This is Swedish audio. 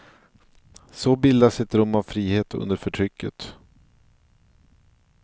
Så bildas ett rum av frihet under förtrycket.